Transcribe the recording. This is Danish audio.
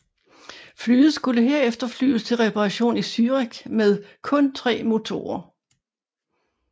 Flyet skulle herefter flyves til reparation i Zürich med kun tre motorer